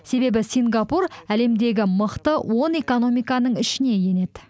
себебі сингапур әлемдегі мықты он экономиканың ішіне енеді